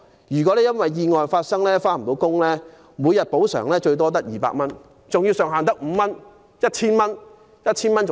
如因意外不能上班，每天補償只有200元，上限為5日，即合共 1,000 元。